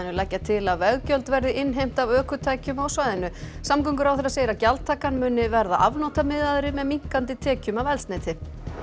leggja til að veggjöld verði innheimt af ökutækjum á svæðinu samgönguráðherra segir að gjaldtakan muni verða með minnkandi tekjum af eldsneyti